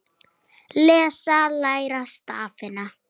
Lesa- læra stafina